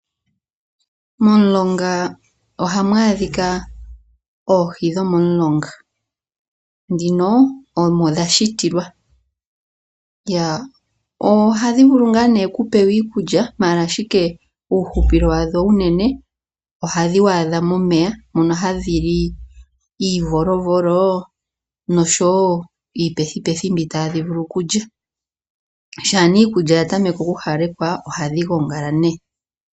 Momulonga ohamu adhika oohi dhomomulonga , dhino omo dha shitilwa. Oha dhi vulu ngaa ne okupewa iikulya maala ashike uuhupilo wadho unene oha dhi waadha momeya moka ha dhi li iivolovolo nosho woo iipethipethi mbyoka tadhi vulu okulya. Sha nee iikukya ya tameke oku hawalekwa ohadhi gongala